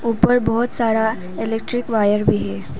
ऊपर बहोत सारा इलेक्ट्रिक वायर भी है।